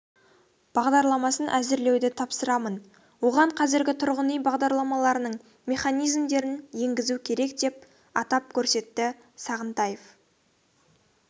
бағдарламасын әзірлеуді тапсырамын оған қазіргі тұрғын үй бағдарламаларының механизмдерін енгізу керек деп атап көрсетті сағынтаев